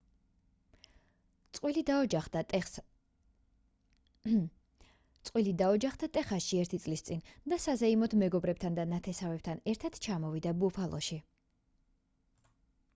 წყვილი დაოჯახდა ტეხასში ერთი წლის წინ და საზეიმოდ მეგობრებთან და ნათესავებთან ერთად ჩამოვიდა ბუფალოში